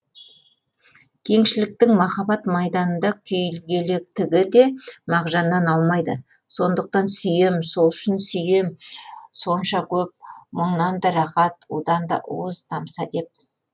кеңшіліктің махаббат майданында күйгелектігі де мағжаннан аумайды сондықтан сүйем сол үшін сүйем сонша көп мұңнан да рахат удан да уыз тамса деп